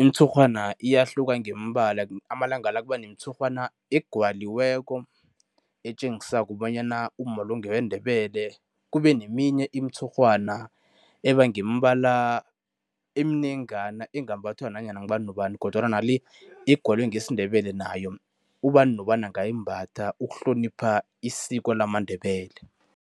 Imitshurhwana iyahluka ngemibala, amalanga la kuba nemitshurhwana egwaliweko, etjengisako bonyana umma lo ngeweNdebele. Kube neminye imitshurhwana eba ngemibala eminengana, engambathwa nanyana ngubani nobani kodwana nale egwalwe ngesiNdebele nayo ubani nobani angayimbatha ukuhlonipha isiko lamaNdebele.